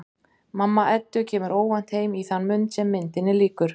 Mamma Eddu kemur óvænt heim í þann mund sem myndinni lýkur.